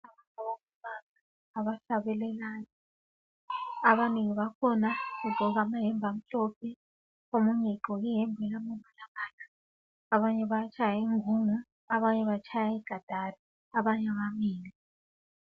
Abafundi abahlabelelayo. Abanengi bakhona bagqoke amayembe amhlophe abanye batshaya ingungu abanye batshaya ikatari abanye bamile.